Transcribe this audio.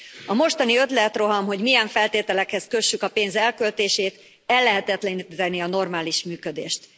A mostani ötletroham, hogy milyen feltételekhez kössük a pénz elköltését, ellehetetlenítené a normális működést.